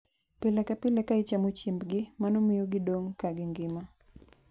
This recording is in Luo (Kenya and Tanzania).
Pile ka pile ka ichamo chiembgi, mano miyo gidong' ka gingima.